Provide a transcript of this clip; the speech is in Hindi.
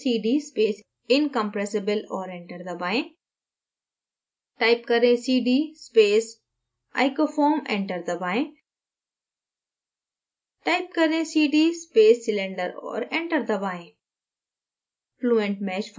type करें cd space incompressible और enter दबाएँ type करें cd space icofoam enter दबाएँ type करें cd space cylinder और enter दबाएँ